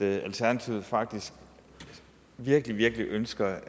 at alternativet faktisk virkelig virkelig ønsker